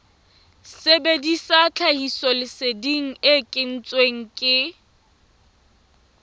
sebedisa tlhahisoleseding e kentsweng ke